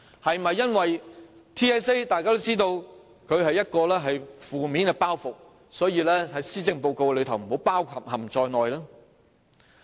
是否因為大家都知道 TSA 是一個負面包袱，所以便不把它包含在施政報告內？